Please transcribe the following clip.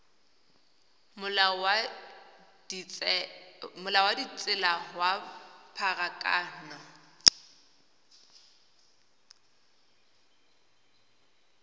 molao wa ditsela wa pharakano